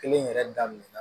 Kelen yɛrɛ daminɛna